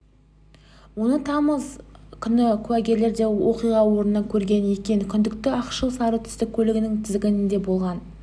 оны тамыз күні куәгерлер де оқиға орнында көрген екен күдікті ақшыл сары түсті көлігінің тізгінінде болғаны